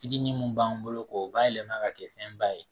Fitinin mun b'an bolo k'o bayɛlɛma ka kɛ fɛn ba ye